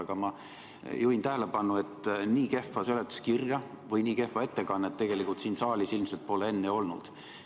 Aga ma juhin tähelepanu sellele, et nii kehva seletuskirja või nii kehva ettekannet pole siin saalis ilmselt enne olnud.